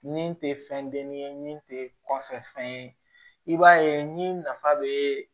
Nin tɛ fɛn denni ye nin tɛ kɔfɛ fɛn ye i b'a ye ni nafa bɛ